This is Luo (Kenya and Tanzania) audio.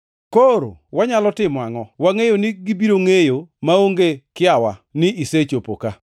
Koro wanyalo timo angʼo? Wangʼeyo ni gibiro ngʼeyo maonge kiawa ni isechopo ka,